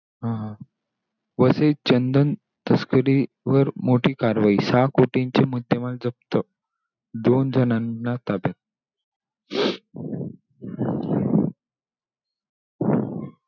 आह वसईत चंदन तस्करीवर मोठी कारवाई! सहा कोटींची मुद्देमाल जप्त. दोन जणांना ताब्यात.